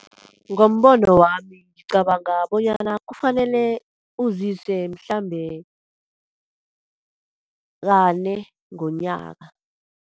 Ngombono wami, ngicabanga bonyana kufanele uzise mhlambe kane ngonyaka.